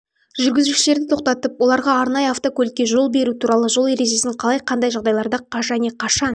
жүргізушілерді тоқтатып оларға арнайы автокөлікке жол беру туралы жол ережесін қалай қандай жағдайларда және қашан